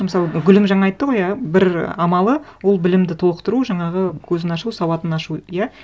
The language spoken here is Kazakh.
мысалы гүлім жаңа айтты ғой иә бір амалы ол білімді толықтыру жаңағы көзін ашу сауатын ашу иә